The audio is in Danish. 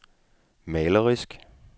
malerisk